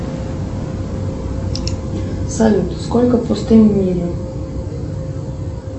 салют сколько пустынь в мире